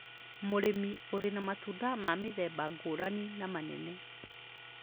Mũrĩmĩ ũrĩ na matunda ma mĩthemba ngũrani na manene.